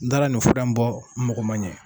N taar nin fura bɔ n magɔ man ɲɛn.